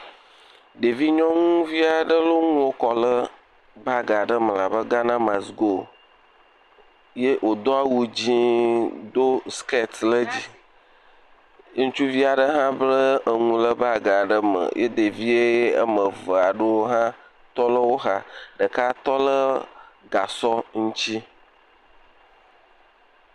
Ɖevi nyɔnuvi aɖe lɔ enuwo kɔ bag aɖe me abe Ghana mast go, ye wòdo awu dzee, do skɛt ɖe dzi, ŋutsuvi aɖe hã bla eŋu ɖe bag aɖe me ye ɖevi ame eve aɖewo tɔ ɖe wo xa. Ɖeka tɔ le gasɔ ŋuti.